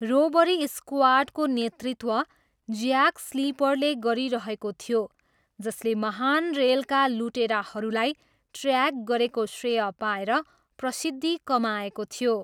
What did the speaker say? Robbery स्क्वाडको नेतृत्व Jack स्लिपरले गरिरहेको थियो जसले महान रेलका लुटेराहरूलाई ट्र्याक गरेको श्रेय पाएर प्रसिद्धि कमाएको थियो।